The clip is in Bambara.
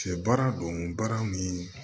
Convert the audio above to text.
Sɛ baara don baara ni